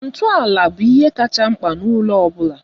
Ntọala bụ ihe kacha mkpa na ụlọ ọ bụla